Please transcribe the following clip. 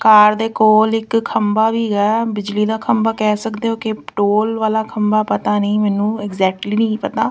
ਕਾਰ ਦੇ ਕੋਲ ਇੱਕ ਖੰਬਾ ਵੀ ਹੈਗਾ ਬਿਜਲੀ ਦਾ ਖੰਬਾ ਕਹਿ ਸਕਦੇ ਹੋ ਕਿ ਟੋਲ ਵਾਲਾ ਖੰਬਾ ਪਤਾ ਨਹੀਂ ਮੈਨੂੰ ਐਗਜੈਕਟਲੀ ਨਹੀਂ ਪਤਾ।